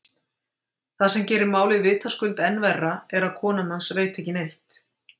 Það sem gerir málið vitaskuld enn verra er að kona hans veit ekki neitt.